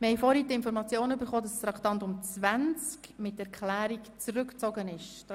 Gibt es dazu Wortmeldungen, wird dieser Ordnungsantrag bestritten?